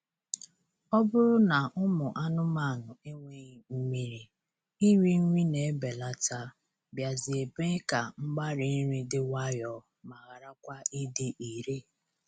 Ọ bụrụ na ụmụ anụmanụ enweghị mmiri, iri nri na-ebelata bịazịa mee ka mgbari nri dị nwayọọ ma ghara kwa ịdị irè.